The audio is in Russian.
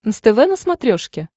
нств на смотрешке